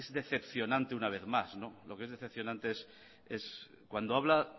decepcionante una vez más lo que es decepcionante es cuando habla